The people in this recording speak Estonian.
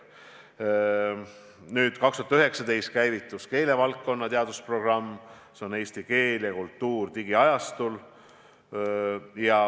2019. aastal käivitus keelevaldkonna teadusprogramm, see on "Eesti keel ja kultuur digiajastul".